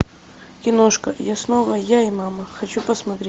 киношка я снова я и мама хочу посмотреть